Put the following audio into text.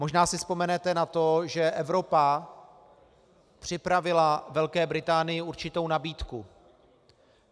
Možná si vzpomenete na to, že Evropa připravila Velké Británii určitou nabídku.